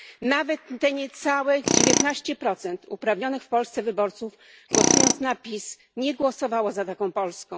Nawet te niecałe 19 uprawnionych w Polsce wyborców, głosując na PiS, nie głosowało za taką Polską.